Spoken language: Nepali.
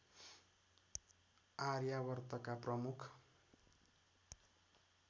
आर्यावर्तका प्रमुख